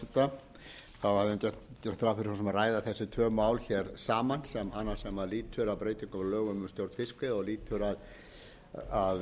reyndar gert ráð fyrir að ræða þessi tvö mál hér saman annað sem lýtur að breytingu á lögum um stjórn fiskveiða og lýtur að